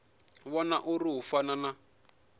vhona uri hu fana na